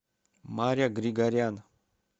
маря григорян